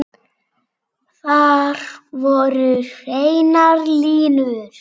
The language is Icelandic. Þar voru hreinar línur.